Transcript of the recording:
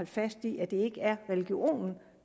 fast i at det ikke er religionen